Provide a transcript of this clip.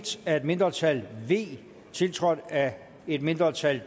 af et mindretal tiltrådt af et mindretal